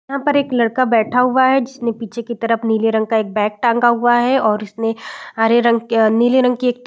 यहाँ पर एक लड़का बैठा हुआ है जिसने पीछे की तरफ नीले रंग का एक बैग टांगा हुआ है और उसने हरे रंग की अ-अ नीले रंग की एक --